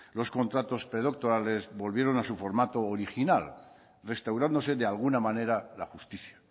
los contratos predoctorales volvieran a su formato original restaurándose de alguna manera la justicia